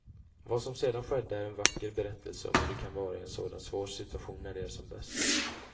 Vad som sedan skedde är en vacker berättelse om hur det kan vara i en sådan svår situation när det är som bäst.